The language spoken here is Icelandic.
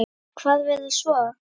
Hvað verður svo?